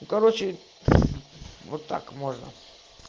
ну короче вот так можно